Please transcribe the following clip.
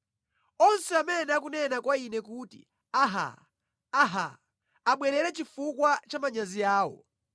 Onse amene akunena kwa ine kuti, “Aha, aha,” abwerere chifukwa cha manyazi awo.